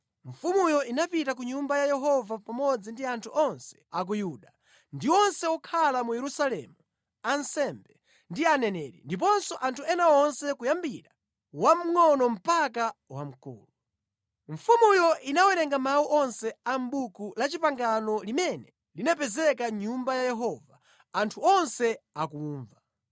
Mfumuyo inapita ku Nyumba ya Yehova pamodzi ndi anthu onse a ku Yuda, ndi onse okhala mu Yerusalemu, ansembe ndi aneneri, ndiponso anthu ena onse kuyambira wamngʼono mpaka wamkulu. Mfumuyo inawerenga mawu onse a mʼBuku la Chipangano limene linapezeka mʼNyumba ya Yehova, anthu onse akumva.